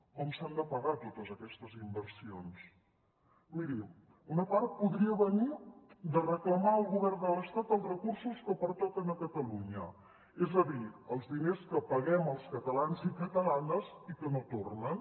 com s’han de pagar totes aquestes inversions miri una part podria venir de reclamar al govern de l’estat els recursos que pertoquen a catalunya és a dir els diners que paguem els catalans i catalanes i que no tornen